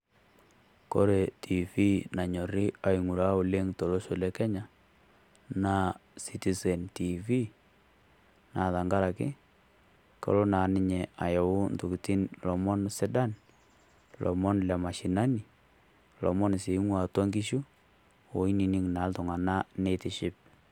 Kore Tiifii nanyorri aing'uraa oleng' tolosho lekenya naa sitisen Tiifii naa tengaraki kelo naa ninye ayau entokitin' sidan, ilomon le mashinani ilomon lieatua enkishu aiteng'en naa iltung'anak neitiship.